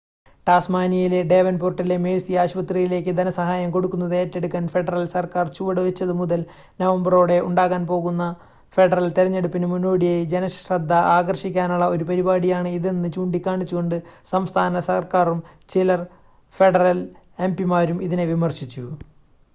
ടാസ്മാനിയയിലെ ഡേവൻപോർട്ടിലെ മേഴ്‌സി ആശുപത്രിയിലേക്ക് ധനസഹായം കൊടുക്കുന്നത് ഏറ്റെടുക്കാൻ ഫെഡറൽ സർക്കാർ ചുവട് വെച്ചത് മുതൽ നവംബറോടെ ഉണ്ടാകാൻ പോകുന്ന ഫെഡറൽ തെരഞ്ഞെടുപ്പിന് മുന്നോടിയായി ജനശ്രദ്ധ ആകർഷിക്കാനുള്ള ഒരു പരിപാടിയാണ് ഇതെന്ന് ചൂണ്ടി കാണിച്ചുകൊണ്ട് സംസ്ഥാന സർക്കാരും ചില ഫെഡറൽ എംപിമാരും ഇതിനെ വിമർശിച്ചു